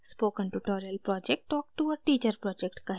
spoken tutorial project talk to a teacher project का हिस्सा है